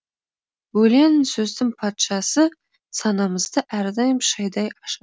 өлең сөздің патшасы санамызды әрдайым шайдай ашады